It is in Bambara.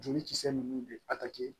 Joli kisɛ nunnu de